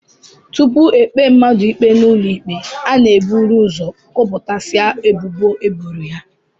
Tupu e kpee mmadụ ikpe n'ụlọikpe, a na-eburu ụzọ gụpụtasịa ebubo e boro ya